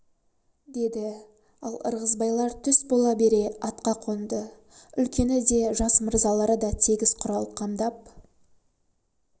деді ал ырғызбайлар түс бола бере атқа қонды үлкені де жас мырзалары да тегіс құрал қамдап